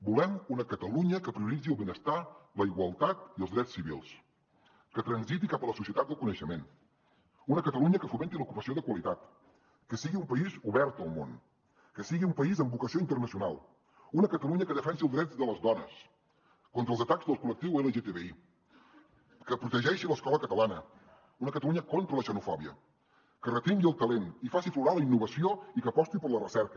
volem una catalunya que prioritzi el benestar la igualtat i els drets civils que transiti cap a la societat del coneixement una catalunya que fomenti l’ocupació de qualitat que sigui un país obert al món que sigui un país amb vocació internacional una catalunya que defensi els drets de les dones contra els atacs al col·lectiu lgtbi que protegeixi l’escola catalana una catalunya contra la xenofòbia que retingui el talent i faci aflorar la innovació i que aposti per la recerca